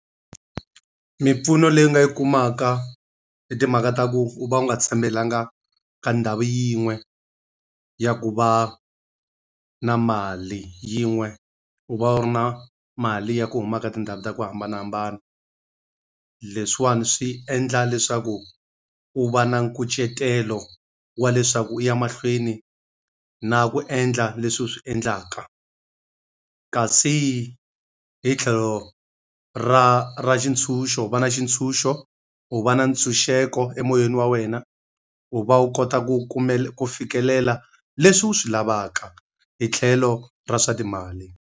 Mimpfuno leyi nga yi kumaka i timhaka ta ku u va u nga tshembelanga ka ndhawu yin'we ya ku va na mali, yin'we u va u ri na mali ya ku humaka tindhawu ta ku hambanahambana. Leswiwani swi endla leswaku u va na nkucetelo wa leswaku u ya mahlweni na ku endla leswi swi endlaka. Kasi hi tlhelo ra ra xitshunxo va na xitshunxo, u va na ntshunxeko emoyeni wa wena, u va wu kota ku ku fikelela leswi wu swi lavaka hi tlhelo ra swa timali.